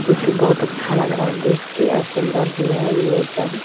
जो की बहुत अच्छा लग रहा है देख के और सुंदर भी है ये जग।